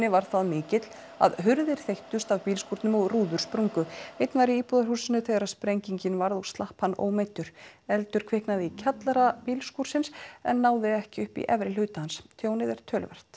var það mikill að hurðir þeyttust af bílskúrnum og rúður sprungu einn var í íbúðarhúsinu þegar sprengingin varð og slapp hann ómeiddur eldur kviknaði í kjallara bílskúrsins en náði ekki upp í efri hluta hans tjón er töluvert